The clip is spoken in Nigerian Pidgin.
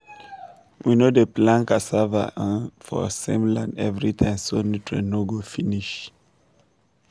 we no dey plant cassava um for same land every time so nutrient no go finish.